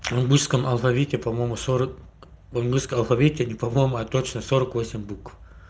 в русском алфавите по-моему сорок в русском алфавите не по-моему а точно сорок восемь букв